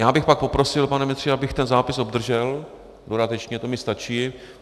Já bych pak poprosil, pane ministře, abych ten zápis obdržel dodatečně, to mi stačí.